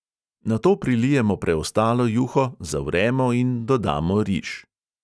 Nato prilijemo preostalo juho, zavremo in dodamo riž.